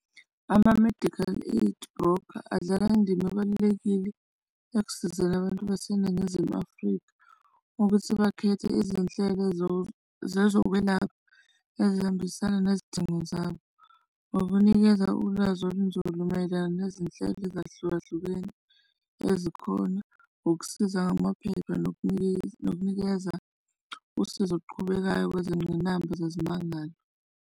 Ama-medical aid broker adlala indima ebalulekile ekusizeni abantu baseNingizimu Afrika ukuthi bakhethe izinhlelo zezokwelapha ezihambisana nezidingo zabo ngokunikeza ulwazi olunzulu mayelana nezinhlelo ezahlukahlukene ezikhona, ukusiza ngamaphepha nokunikeza usizo oluqhubekayo kwezingqinamba zezimangalo.